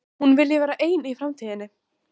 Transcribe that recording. Hún vilji vera ein í framtíðinni.